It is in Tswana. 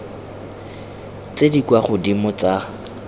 tse di kwa godimo tsa